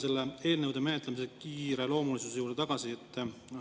Ma tulen eelnõude menetlemise kiireloomulisuse juurde tagasi.